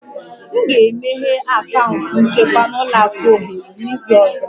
M ga-emeghe akaụntụ nchekwa na ụlọ akụ ohere n'izu ọzọ